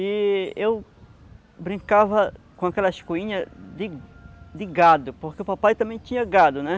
E eu brincava com aquelas coinhas de de gado, porque o papai também tinha gado, né?